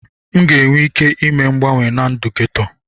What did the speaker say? M ga-enwe ike ime mgbanwe na ndụ geto.